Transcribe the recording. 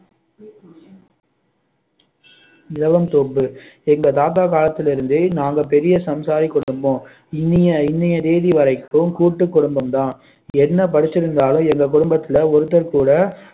இலவம் தோப்பு எங்க தாத்தா காலத்துல இருந்தே நாங்க பெரிய சம்சாரி குடும்பம் இன்னிய இன்னைய தேதி வரைக்கும் கூட்டு குடும்பம் தான் என்ன படிச்சிருந்தாலும் எங்க குடும்பத்துல ஒருத்தர் கூட